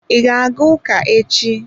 I ga-aga ụka echi?